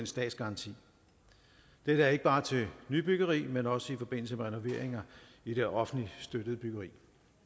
statsgaranti dette er ikke bare til nybyggeri men også i forbindelse med renoveringer i det offentligt støttede byggeri